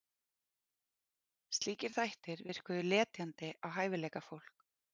Slíkir þættir virkuðu letjandi á hæfileikafólk